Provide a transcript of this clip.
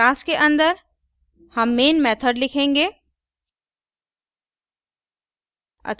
class के अंदर हम main method लिखेंगे